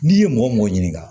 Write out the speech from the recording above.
N'i ye mɔgɔ mɔgɔ ɲininka